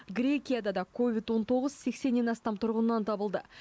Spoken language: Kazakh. грекияда да ковид он тоғыз сексеннен астам тұрғыннан табылды